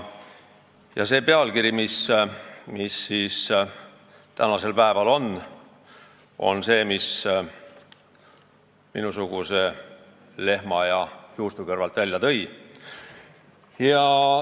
See tänane pealkiri on see, mis minusuguse lehma ja juustu kõrvalt välja tõi.